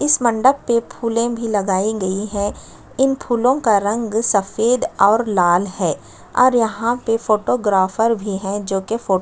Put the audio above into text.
इस मंडप पे फुले भी लगाई गई है इन फूलो का रंग सफ़ेद और लाल है और यहाँ पे फोटोग्राफर भी है जो कि फोटो --